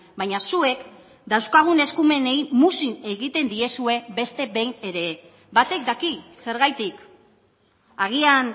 baina zuek dauzkagun eskumenei muzin egiten diezue beste behin ere batek daki zergatik agian